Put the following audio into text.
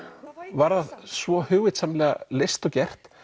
var það svo hugvitsamlega leyst og gert